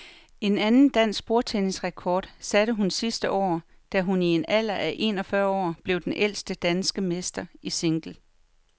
En anden dansk bordtennisrekord satte hun sidste år, da hun i en alder af en og fyrre år blev den ældste danske mester i single.